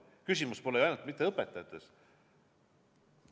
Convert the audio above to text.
Küsimus pole ju ainult õpetajates.